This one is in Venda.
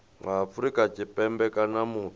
wa afrika tshipembe kana muthu